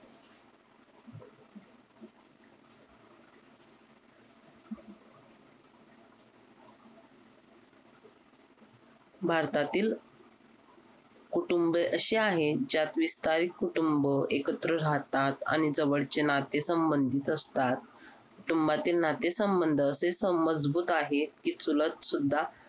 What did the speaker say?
भारतातील कुटुंब अशी आहेत ज्यात विस्तारित कुटुंब एकत्र राहतात आणि जवळचे नाते संबंधित असतात कुटुंबातील नाते संबंध असेच मजबूत आहेत की चुलत सुद्धा